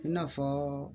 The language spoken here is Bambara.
I n'a fɔ